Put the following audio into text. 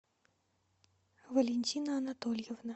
валентина анатольевна